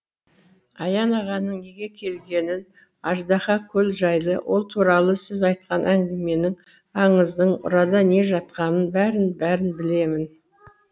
аян ағаның неге келгенін аждаһа көл жайлы ол туралы сіз айтқан әңгіменің аңыздың ұрада не жатқанын бәрін бәрін білемін